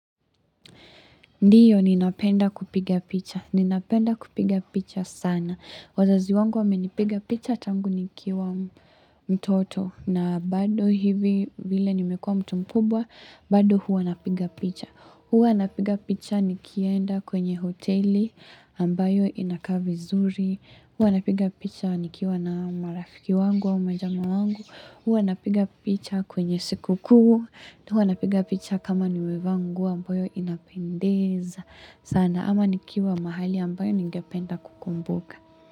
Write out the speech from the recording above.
Ndiyo ninapenda kupiga picha. Ninapenda kupiga picha sana. Wazazi wangu wamenipiga picha tangu nikiwa mtoto na bado hivi vile nimekuwa mtu mkubwa bado huwa napiga picha. Huwa napiga picha nikienda kwenye hoteli ambayo inakaa vizuri. Huwa napiga picha nikiwa na marafiki wangu au majamaa wangu. Huwa napiga picha kwenye siku kuu. Huwa napiga picha kama nimevaa nguo ambayo inapendeza. Sana ama nikiwa mahali ambayo ningependa kukumbuka.